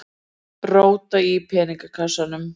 Róta í peningakassanum.